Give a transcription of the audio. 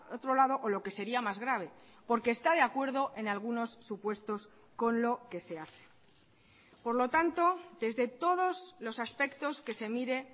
otro lado o lo que sería más grave porque está de acuerdo en algunos supuestos con lo que se hace por lo tanto desde todos los aspectos que se mire